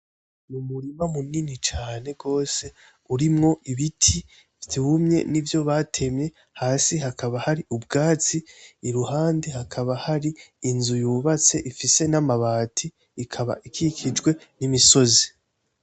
Ni umurima munini cane gose urimwo ibiti vyumye n'ivyo batemye, hasi hakaba hari ubwatsi , iruhande hakaba hari inzu yubatse ifise n'amabati ikaba ikikijwe n'imisozi.